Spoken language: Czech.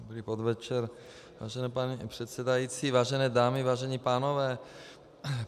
Dobrý podvečer vážený pane předsedající, vážené dámy, vážení pánové.